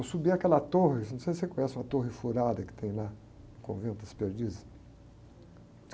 Eu subi aquela torre, assim, não sei se você conhece uma torre furada que tem lá no Convento das Perdizes.